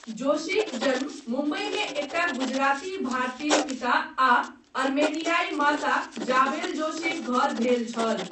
जोशीक जन्म मुंबईमे एकटा गुजराती भारतीय पिता आ अर्मेनियाई माता, ज़ाबेल जोशीक घर भेल छल।